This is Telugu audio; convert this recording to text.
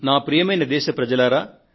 ప్రియమైన నా దేశ ప్రజలారా